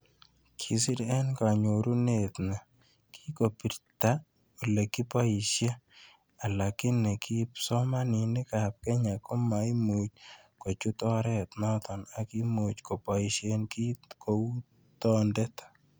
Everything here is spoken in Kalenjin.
Kosir, eng kanyorunet ni, kokibijta olekiboshe, alakini kipsomaninkab Kenya komaimuch kochute oret noto ak imuch koboishe kito kou tondet